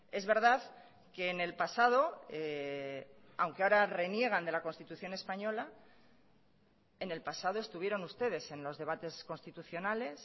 es verdad que en el pasado aunque ahora reniegan de la constitución española en el pasado estuvieron ustedes en los debates constitucionales